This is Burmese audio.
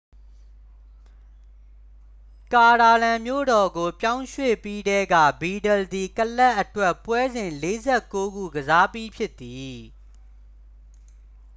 ကာတာလန်မြို့တော်ကို ပြောင်းရွှေ့ပြီးထဲက ဗီဒလ်သည် ကလပ်အတွက် ပွဲစဉ် 49 ခု ကစားပြီးဖြစ်သည်